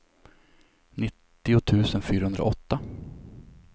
nittio tusen fyrahundraåtta